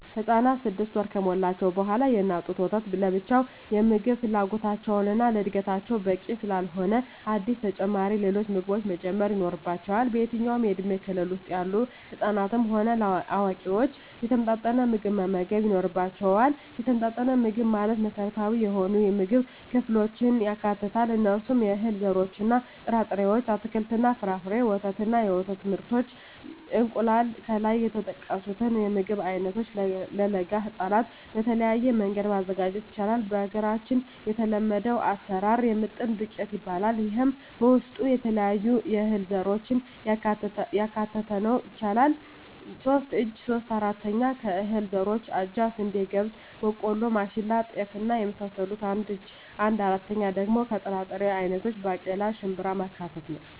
ህፃናት ስድስት ወር ከሞላቸዉ በኋላ የእናት ጡት ወተት ለብቻዉ የምግብ ፍላጎታቸዉን እና ለእድገታቸዉ በቂ ስላልሆነ አዲስ ተጨማሪ ሌሎች ምግቦችን መጀመር ይኖሮባቸዋል በየትኛዉም የእድሜ ክልል ዉስጥ ያሉ ህፃናትም ሆነ አዋቂዎች የተመጣጠነ ምግብ መመገብ ይኖርባየዋል የተመጣጠነ ምግብ ማለት መሰረታዊ የሆኑየምግብ ክፍሎችን ያካትታል እነርሱም - የእህል ዘሮችእና ጥራጥሬዎች - አትክልትና ፍራፍሬ - ወተት እና የወተት ምርቶች - እንቁላል ከላይ የተጠቀሱትን የምግብ አይነቶች ለለጋ ህፃናት በተለየ መንገድ ማዘጋጀት ይቻላል በሀገራችን የተለመደዉ አሰራር የምጥን ዱቄት ይባላል ይሄም በዉስጡ የተለያዩ የእህል ዘሮችን ማካተት ይቻላል ሶስት እጂ (3/4) ከእህል ዘሮች አጃ፣ ስንዴ፣ ገብስ፣ ቦቆሎማሽላ፣ ጤፍ እና የመሳሰሉት አንድ እጂ(1/4)ደሞ ከጥራጥሬ አይነቶች ባቄላ፣ ሽንብራማካተት ነዉ